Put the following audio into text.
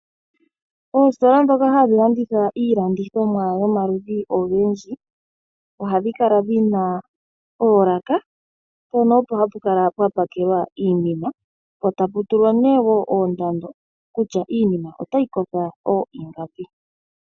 Oositola dhoka hadhi landitha iilandithonwa yomaludhi gaayooloka ohadhi kala dhina oolaka mpono opo hapu kala pwa pakelwaiinima po patu tulwa ihe oondando kutya iinima otayi kotha ooyi ngapi.